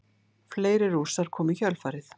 Fleiri Rússar komu í kjölfarið.